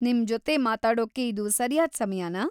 ನಿಮ್ಜೊತೆ ಮಾತಾಡೋಕೆ ಇದು ಸರ್ಯಾದ ಸಮಯನಾ?